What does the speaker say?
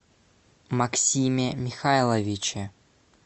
максиме михайловиче